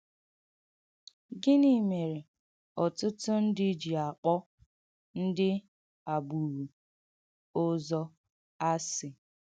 Gìní merè ọ̀tụ̀tụ̀ ndí jì akpọ̀ ndí àgbùrù òzọ̀ asị?